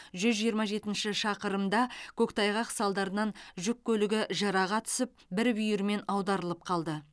жүз жиырма жетінші шақырымда көктайғақ салдарынан жүк көлігі жыраға түсіп бір бүйірімен аударылып қалды